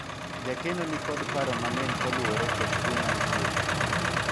jakeno nikod paro mang'eny kaluwore kod tuo mar chiegi